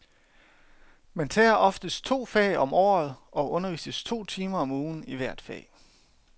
Man tager oftest to fag om året og undervises to timer om ugen i hvert fag.